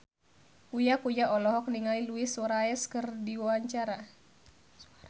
Uya Kuya olohok ningali Luis Suarez keur diwawancara